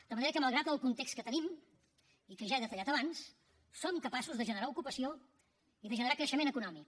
de manera que malgrat el context que tenim i que ja he detallat abans som capaços de generar ocupació i de generar creixement econòmic